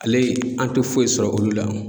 Ale an tɛ foyi sɔrɔ olu la.